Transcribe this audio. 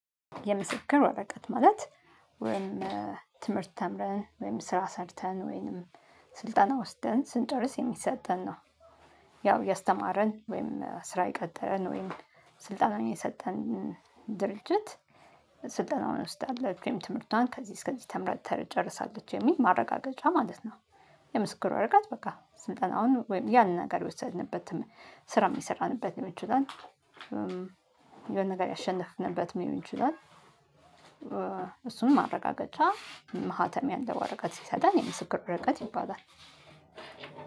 የምስክር ወረቀት ማለት ወይም ትምህርት ተምረን ወይም ስራ ሰርተን ወይም ስልጠና ወስደን ስንጨርስ የሚሰጠን ነው ያው ያስተማረን ወይም ስራ የቀጠረን ወይም ስልጣን የሰጠን ድርጅት ስልጣናውን ወስዳለች ወይም ትምህርቷን ከዚህ እስከዚህ ተምራ ጨርሳለች የሚል ማረጋገጫ ማለት ነው። የምስክር ወረቀት በቃ ስልጠናውን ወይም ያንን ነገር የወሰድንበትም ስራ የሰራንበትን ልሆን ይችላል። የሆነ ነገር ያሸነፍንበትም መሆን ይችለል። እሱን ማረጋገጫ ማህተሚ ያለው ወረቀት ሲሰጣን የምስክር ወረቀት ይባላል።